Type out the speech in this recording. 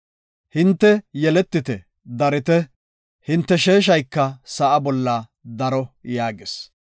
Hinte yeletite, darite, hinte sheeshayka sa7a bolla daro” yaagis.